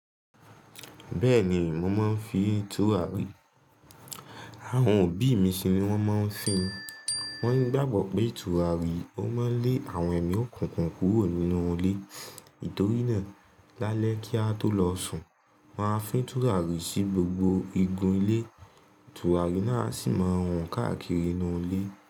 Bẹ́ẹ̀ni, mo máa ń fi tùràrí. Àwọn òbí mi ṣì ni wọ́n máa ń fì í. Wọ́n gbàgbọ́ pé tùràrí ó máa ń lé àwọn ẹ̀mí òkùnkùn kúrò nínú ilé. Tòrí náà, lálẹ́ kí a tó lọ sùn, wón a fi tùràrí sí gbogbo igun ilé. Tùràrí náà sì máa wọ́n káàkiri inú ilé.